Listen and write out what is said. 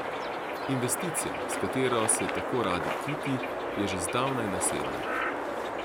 Investicija, s katero se tako rad kiti, je že zdavnaj nasedla.